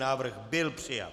Návrh byl přijat.